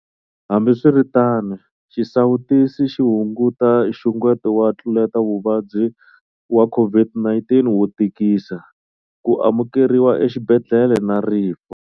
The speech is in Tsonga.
Hambiswiritano, xisawutisi xi hunguta nxungeto wa ntluletavuvabyi wa COVID-19 wo tikisa, ku amukeriwa exibedhlele na rifu.